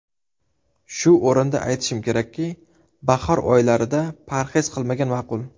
Shu o‘rinda aytishim kerakki, bahor oylarida parhez qilmagan ma’qul.